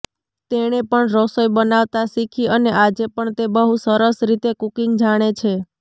તેણે પણ રસોઈ બનાવતાં શીખી અને આજે પણ તે બહુ સરસ રીતે કુકિંગ જાણે છે